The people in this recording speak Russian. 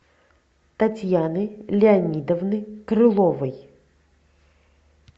татьяны леонидовны крыловой